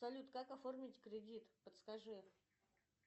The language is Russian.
салют как оформить кредит подскажи